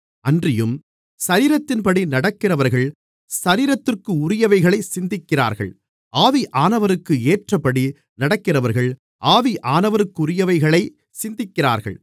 அன்றியும் சரீரத்தின்படி நடக்கிறவர்கள் சரீரத்திற்குரியவைகளைச் சிந்திக்கிறார்கள் ஆவியானவருக்கு ஏற்றபடி நடக்கிறவர்கள் ஆவியானவருக்குரியவைகளைச் சிந்திக்கிறார்கள்